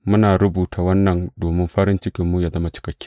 Muna rubuta wannan domin farin cikinmu yă zama cikakke.